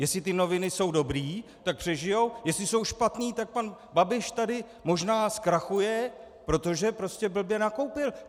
Jestli ty noviny jsou dobré, tak přežijí, jestli jsou špatné, tak pan Babiš tady možná zkrachuje, protože prostě blbě nakoupil.